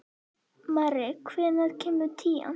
Marri, hvenær kemur tían?